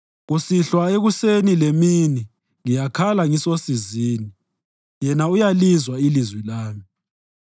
Kusihlwa, ekuseni lemini ngiyakhala ngisosizini, yena uyalizwa ilizwi lami.